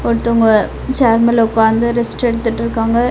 ஒருத்தவங்க ஷேர் மேல ஒக்காந்து ரெஸ்ட் எடுத்துட்ருக்காங்க.